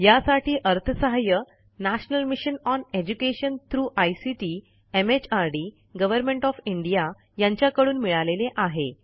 यासाठी अर्थसहाय्य national mission on education through ICT MHRD government of India यांच्याकडून मिळालेले आहे